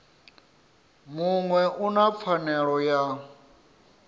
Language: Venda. muṅwe u na pfanelo ya